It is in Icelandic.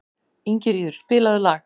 Ingiríður, spilaðu lag.